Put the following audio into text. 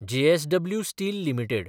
JSW steel limited